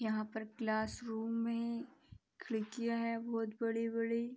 यहाँ पर classroom मे खिड़कियाँ हैं बोहोत बड़ी-बड़ी।